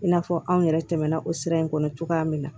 I n'a fɔ anw yɛrɛ tɛmɛna o sira in kɔnɔ cogoya min na